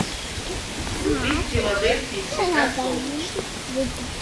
вруби в филадельфии всегда солнечно